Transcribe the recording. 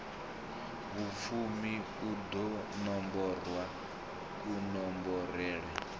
vhufumi u ḓo nomborwa kunomborele